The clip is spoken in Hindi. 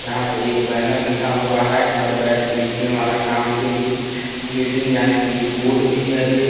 यहाँ पे एक बैनर लिखा हुआ है घर बैठे लिखने वाला काम के लिए गेट ईन जाने के लिए बोर्ड भी है एक--